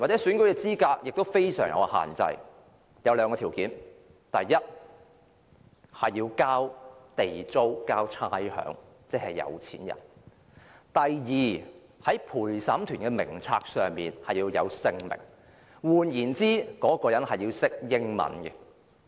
選民資格也非常有限制，有兩項條件，第一，你要繳交地租和差餉，即是有錢人；第二，在陪審團的名冊上要有你的姓名，換言之，你要懂英語。